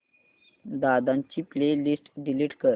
दादा ची playlist delete कर